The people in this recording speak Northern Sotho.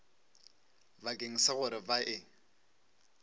bakeng sa gore ba e